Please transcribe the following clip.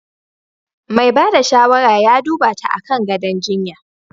Mai ba da shawara ya duba ta akan gadon jinya.